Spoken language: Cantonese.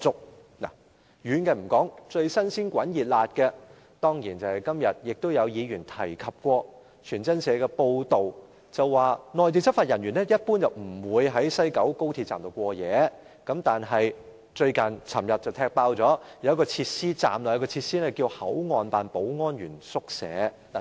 先不談遠的事情，一宗最近新鮮熱辣發生的事情，就是議員今天也提到的一篇傳真社報道，當中指出內地執法人員一般不會在西九高鐵站過夜，但傳媒昨天便揭發，站內竟設有一個名為"口岸辦保安員宿舍"的設施。